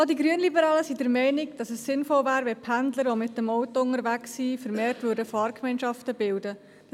Auch die Grünliberalen sind der Meinung, dass es sinnvoll wäre, wenn Pendler, die mit dem Auto unterwegs sind, vermehrt Fahrgemeinschaften bilden würden.